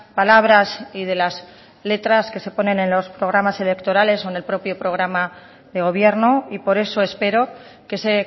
palabras y de las letras que se ponen en los programas electorales o en el propio programa de gobierno y por eso espero que ese